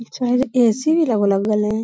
पिछवा जे ए.सी भी